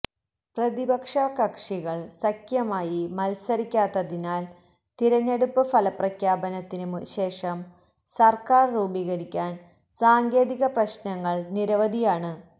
പ്രതിപക്ഷകക്ഷികള് സഖ്യമായി മത്സരിക്കാത്തതിനാല് തിരഞ്ഞെടുപ്പ് ഫലപ്രഖ്യാപനത്തിന് ശേഷം സര്ക്കാര് രൂപീകരിക്കാന് സാങ്കേതിക പ്രശ്നങ്ങള് നിരവധിയാണ്